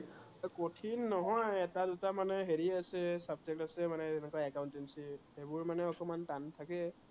কঠিন নহয়, এটা দুটা মানে হেৰি আছে, মানে subject আছে যেনেকা accountancy সেইবোৰ মানে অকনমান টান থাকে